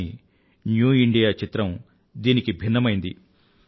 కానీ new India చిత్రం దీనికి భిన్నమైనది